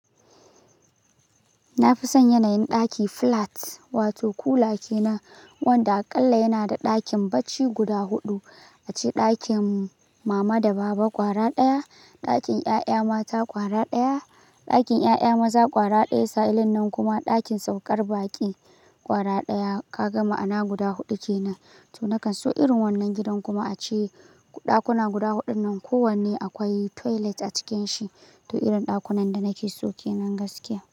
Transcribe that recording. Na fi son yanayin ɗaki flat wato kulaki kenan wanda aƙalla yana da ɗakin bacci guda huɗu, a ce ɗakin mama da baba ƙwara ɗaya, ɗakin ƴaƴa mata ƙwara ɗaya, ɗakin ƴaƴa maza ƙwara ɗaya, sa, ilin nan kuma ɗakin saukar baƙi ƙwara ɗaya. Ka gama ana guda huɗu kenan. To nakan so irin wannan gidan kuma a ce ɗakuna guda huɗun nan kowanne akwai toilet a cikin shi. To irin ɗakunan da nake so kenan gaskiya.